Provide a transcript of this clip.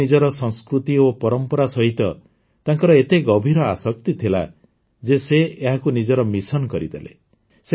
କିନ୍ତୁ ନିଜର ସଂସ୍କୃତି ଓ ପରମ୍ପରା ସହିତ ତାଙ୍କର ଏତେ ଗଭୀର ଆସକ୍ତି ଥିଲା ଯେ ସେ ଏହାକୁ ନିଜର ମିଶନ କରିଦେଲେ